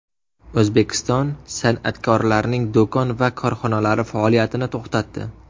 O‘zbekiston san’atkorlarining do‘kon va korxonalari faoliyatini to‘xtatdi.